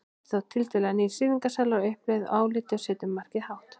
Þetta er þá tiltölulega nýr sýningarsalur á uppleið í áliti og setur markið hátt.